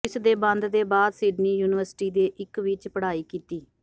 ਇਸ ਦੇ ਬੰਦ ਦੇ ਬਾਅਦ ਸਿਡਨੀ ਯੂਨੀਵਰਸਿਟੀ ਦੇ ਇੱਕ ਵਿੱਚ ਪੜ੍ਹਾਈ ਕੀਤੀ